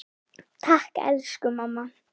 Takk, elsku mamma.